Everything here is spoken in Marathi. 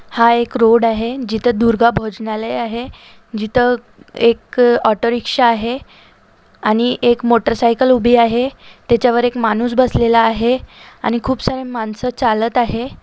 हा एक रोड आहे जिथ दुर्गा भोजनालय आहे जिथ एक ऑटो रिक्षा आहे आणि एक मोटर साईकल उभी आहे तेच्यावर एक माणूस बसलेला आहे आणि खूप सारे माणस चालत आहे.